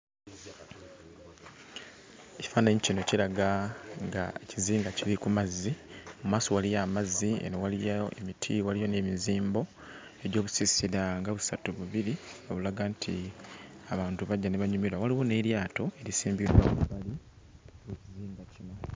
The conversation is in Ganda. Ekifaananyi kino kiraga nga kizinga kiri ku mazzi, mu maaso waliyo amazzi eno waliyo emiti, waliyo n'emizimbo egy'obuziisira nga busatu bubiri obulaga nti abantu bajja ne banyumirwa. Waliyo n'eryato lisimbiddwa